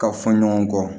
Ka fɔ ɲɔgɔn kɔ